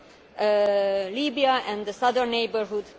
then Libya and the southern neighbourhood